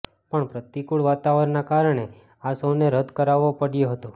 પણ પ્રતિકુળ વાતાવરણના કારણે આ શોને રદ કરવો પડયો હતો